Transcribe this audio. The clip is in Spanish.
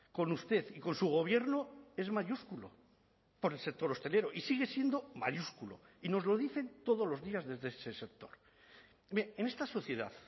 con usted y con su gobierno es mayúsculo por el sector hostelero y sigue siendo mayúsculo y nos lo dicen todos los días desde ese sector en esta sociedad